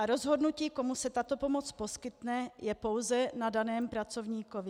A rozhodnutí, komu se tato pomoc poskytne, je pouze na daném pracovníkovi.